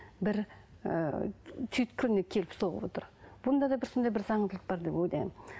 бір ііі түйткініне келіп соғып отыр бұныда да бір сондай бір заңдылық бар деп ойлаймын